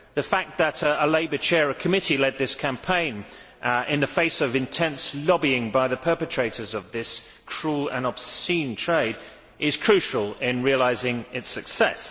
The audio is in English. The fact that a Labour chair of committee led this campaign, in the face of intense lobbying by the perpetrators of this cruel and obscene trade, is crucial in realising its success.